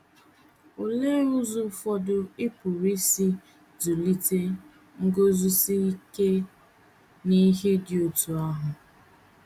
Olee ụzọ ụfọdụ ị pụrụ isi zụlite nguzosi ike n’ihe dị otú ahụ?